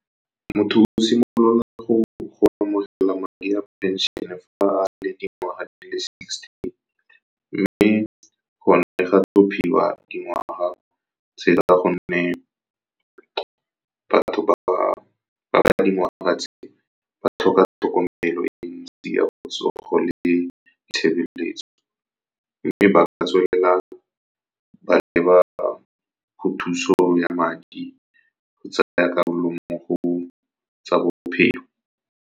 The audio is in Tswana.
Motho o simolola go amogela madi a phenšene fa a le dingwaga di le sixty, mme go tlhophiwa dingwaga go tse la ka gonne batho ba dingwaga tse ba tlhoka tlhokomelo e ntsi ya botsogo le ditshebeletso. Mme ba ka tswelela ba leba go thuso ya madi go tsaya karolo mo go tsa bophelo.